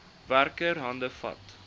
werker hande vat